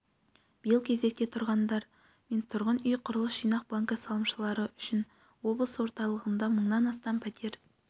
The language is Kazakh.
биыл кезекте тұрғандар мен тұрғын үй құрылыс жинақ банкі салымшылары үшін облыс орталығында мың астам пәтер